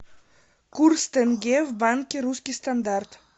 курс тенге в банке русский стандарт